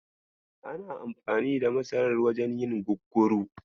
Ana amfani da masarar wajen yin gugguru.